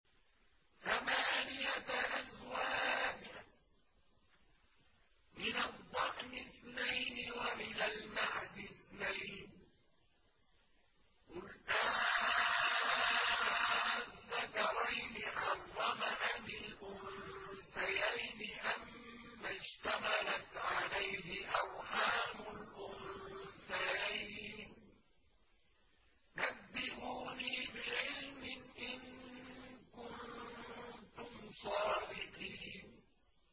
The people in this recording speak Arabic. ثَمَانِيَةَ أَزْوَاجٍ ۖ مِّنَ الضَّأْنِ اثْنَيْنِ وَمِنَ الْمَعْزِ اثْنَيْنِ ۗ قُلْ آلذَّكَرَيْنِ حَرَّمَ أَمِ الْأُنثَيَيْنِ أَمَّا اشْتَمَلَتْ عَلَيْهِ أَرْحَامُ الْأُنثَيَيْنِ ۖ نَبِّئُونِي بِعِلْمٍ إِن كُنتُمْ صَادِقِينَ